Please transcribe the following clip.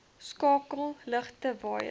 skakel ligte waaiers